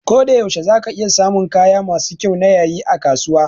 Koda yaushe za ka iya samun kaya masu kyau na yayi a kasuwa